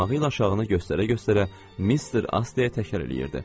Barmağı ilə aşağıını göstərə-göstərə Mister Asteya təkrarlayırdı.